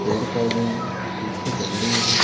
पेड़-पौधे हैं पीछे बिल्डिंग है।